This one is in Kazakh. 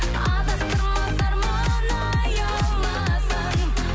адастырмас арман аяуласаң